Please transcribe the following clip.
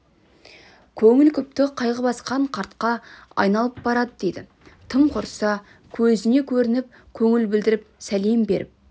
көңілі күпті қайғы басқан қартқа айналып барады дейді тым құрса көзіне көрініп көңіл білдіріп сәлем беріп